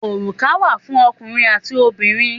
Òrùka wà fún ọkùnrin àti obìnrin.